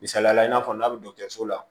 Misaliyala i n'a fɔ n'a bɛ dɔgɔtɔrɔso la